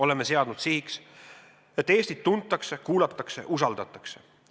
Oleme seadnud sihiks, et Eestit tuntakse, kuulatakse, usaldatakse.